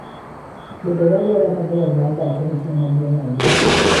Bedo gi alwora maber mar dak en ting' maduong' ahinya.